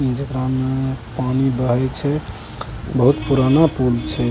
जेकराम पानी बहे छै बहुत पुराना पुल छै